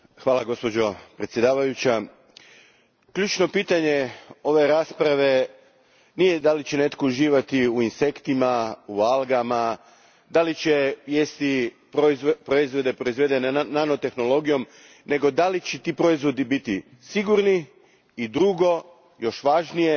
Gospođo predsjednice, ključno pitanje ove rasprave nije da li će netko uživati u insektima, u algama, da li će jesti proizvode proizvedene nanotehnologijom, nego da li će ti proizvodi biti sigurni i drugo, još važnije,